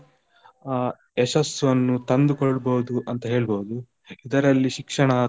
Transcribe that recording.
ಅಹ್ ಯಶಸ್ಸನ್ನು ತಂದುಕೊಳ್ಬೋದು ಅಂತ ಹೇಳ್ಬಹುದು ಇದರಲ್ಲಿ ಶಿಕ್ಷಣ.